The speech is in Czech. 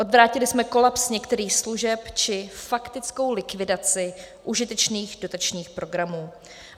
Odvrátili jsme kolaps některých služeb či faktickou likvidaci užitečných dotačních programů.